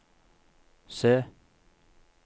se